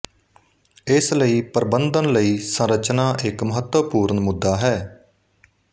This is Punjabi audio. ਇਸ ਲਈ ਪ੍ਰਬੰਧਨ ਲਈ ਸੰਰਚਨਾ ਇੱਕ ਮਹੱਤਵਪੂਰਨ ਮੁੱਦਾ ਹੈ